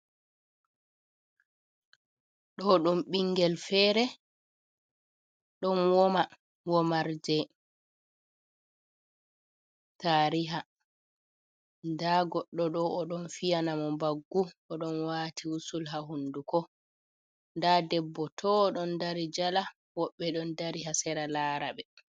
Ɗo ɗum ɓingel fere ɗon woma womar je tariha nda goɗɗo oɗo don fiyana mo baggu oɗon wati wusul ha hunduko nda debbo to o ɗon dari jala woɓɓe ɗon dari ha sera laraɓe.